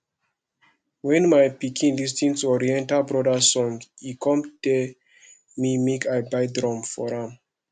wen my pikin lis ten to oriental brothers song e come tell me make i buy drum for am